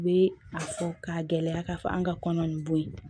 U bɛ a fɔ k'a gɛlɛya k'a fɔ an ka kɔnɔ nin bo ye